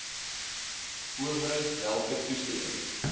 owerheid welke toestemming